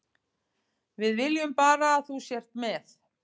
Við viljum bara að þú sért með.